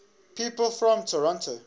people from toronto